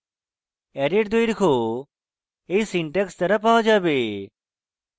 array এর দৈর্ঘ্য এই syntax দ্বারা পাওয়া যাবে